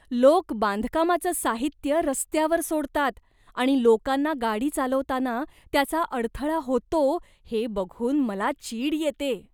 लोक बांधकामाचं साहित्य रस्त्यावर सोडतात आणि लोकांना गाडी चालवताना त्याचा अडथळा होतो हे बघून मला चीड येते.